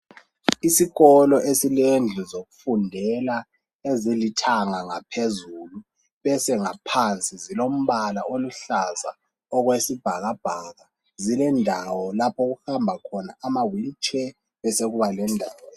Isikolo esilendlu zokufundela ezilithanga ngaphezulu bese ngaphansi zilombala oluhlaza okwesibhakabhaka zilendawo lapho okuhamba khona amawheelchair besekuba lendawo